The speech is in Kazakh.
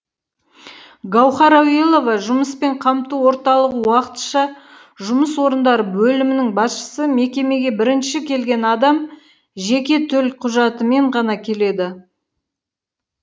гауһар ауелова жұмыспен қамту орталығы уақытша жұмыс орындары бөлімінің басшысы мекемеге бірінші келген адам жеке төлқұжатымен ғана келеді